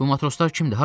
Bu matroslar kimdir?